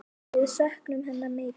Við söknum hennar mikið.